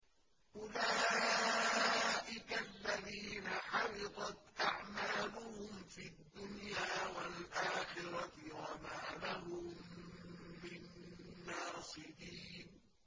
أُولَٰئِكَ الَّذِينَ حَبِطَتْ أَعْمَالُهُمْ فِي الدُّنْيَا وَالْآخِرَةِ وَمَا لَهُم مِّن نَّاصِرِينَ